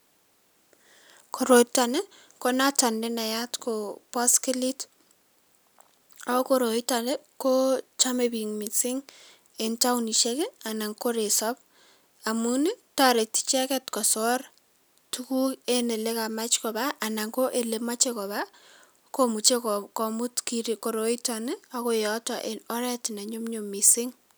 Koroitok ii konotok nenayat Koo boskilit ako koroitok ii kochome bik mising eng taonisiek ii anan ko resob amun ii toreti icheket kosor tuguk enn ele kamach koba anan ko le moche koba komuche komut koroitok ii akoi yoto enn oret ne nyum nyum mising.